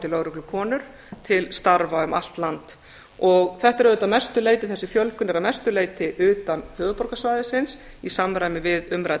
og vonandi lögreglukonur til starfa um allt land þessi fjölgun er að mestu leyti utan höfuðborgarsvæðisins í samræmi við umrædda